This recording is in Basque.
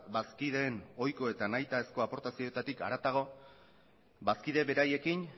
bazkideen ohiko eta nahitaezko aportazioetatik haratago bazkide beraiekin